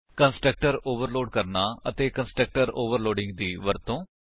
constructor overload ਕਰਨਾ ਅਤੇ constructor overloading ਦੀ ਵਰਤੋ